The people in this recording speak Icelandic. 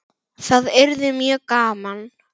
Það yrði mjög gaman.